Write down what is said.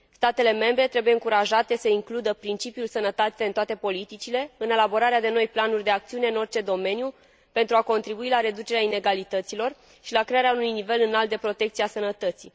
Statele membre trebuie încurajate să includă principiul sănătății în toate politicile, în elaborarea de noi planuri de acțiune în orice domeniu, pentru a contribui la reducerea inegalităților și la crearea unui nivel înalt de protecție a sănătății.